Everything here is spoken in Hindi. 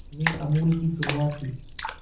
में अमूल की शुरुआत की